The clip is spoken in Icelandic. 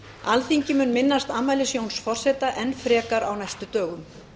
alþingi mun minnast afmælis jóns forseta enn frekar á næstu dögum